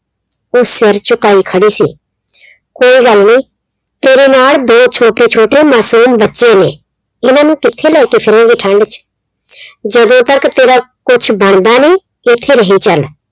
ਉਹ ਸਿਰ ਝੁਕਾਈ ਖੜੀ ਸੀ। ਕੋਈ ਗੱਲ ਨੀ ਤੇਰੇ ਨਾਲ ਦੋ ਛੋਟੇ ਛੋਟੇ ਮਾਸੂਮ ਬੱਚੇ ਨੇ ਇਨ੍ਹਾਂ ਨੂੰ ਕਿੱਥੇ ਲੈ ਕੇ ਫਿਰੇਗੀ ਠੰਡ ਚ ਜਦੋਂ ਤੱਕ ਤੇਰਾ ਕੁੱਛ ਬਣਦਾ ਨੀ ਤੂੰ ਇੱਥੇ ਰਹੀ ਚੱਲ,